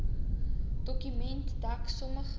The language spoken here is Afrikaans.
dokument dek sommige